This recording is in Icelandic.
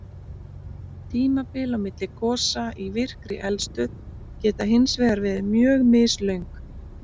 Tímabil á milli gosa í virkri eldstöð geta hins vegar verið mjög mislöng.